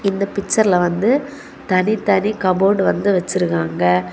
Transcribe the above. இந்த பிச்சர்ல வந்து தனி தனி கபோர்டு வந்து வச்சிருகாங்க.